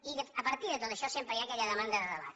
i a partir de tot això sempre hi ha aquella demanda de debat